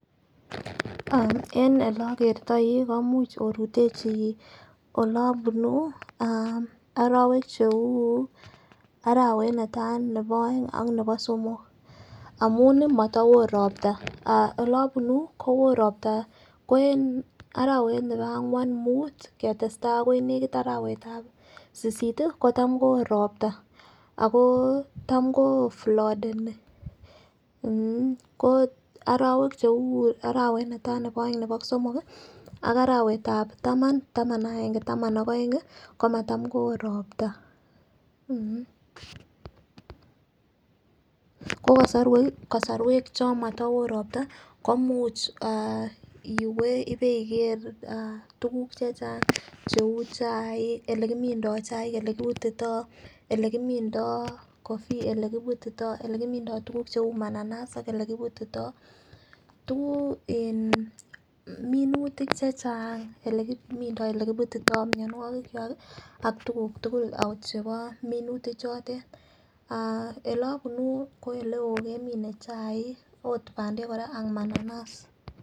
Ah en ole okertoi komuch orutechi ole obunu ah orowek cheu arawet nitai nebo oeng ak nebo somok amunii motowo ropta. Ah ole obunuu kowoo ropta en arawet nebo angwan, mut ketestai akoi nekit arawetab sisit kotam kowoo ropta ako tam koflodeni mmh ko orowek cheu arawet netai nebo oeng nebo somok ak arawetab taman, taman ak agenge taman ak oeng ko matam kowoo ropta. Ko kosorwek cho motowoo ropta koimuch ah iwee iweiker tukuk chechang cheu chaik olekimindo chaik ole kiputito , ele kimimdo coffee ole kimindo tukuk cheu mananas ako ole kiputito . Tukuk in minutik chechang ole kimindo ole kiputito mionwokik kwak ak tukuk tukul ot chebo minutik chotet ah ole obunu ko oleo kemine kimene chaik ot pandek Koraa ak mananas.